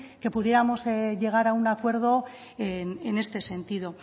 que pudiéramos llegar a un acuerdo en este sentido